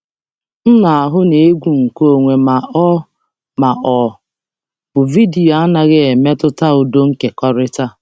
M na-ahụ na egwu nkeonwe ma ọ ma ọ bụ vidiyo anaghị emetụta udo nkekọrịta.